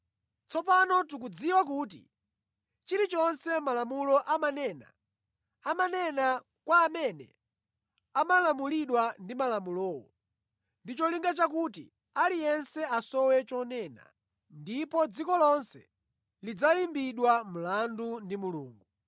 Tsopano tikudziwa kuti chilichonse Malamulo amanena, amanena kwa amene amalamulidwa ndi Malamulowo, ndi cholinga chakuti aliyense asowe chonena, ndipo dziko lonse lidzayimbidwa mlandu ndi Mulungu.